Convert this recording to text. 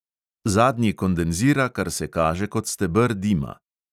Zadnji kondenzira, kar se kaže kot steber dima.